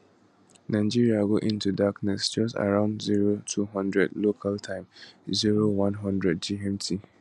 nigeria go into darkness just around 0200 local time 0100 gmt